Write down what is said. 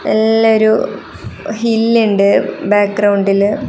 നല്ലൊരു ഹിൽ ഇണ്ട് ബാക്ക്ഗ്രൗണ്ടില് .